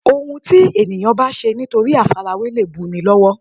Òun ti èèyàn bá ṣe nítorí àfarawé lè bu ni lọ́wọ́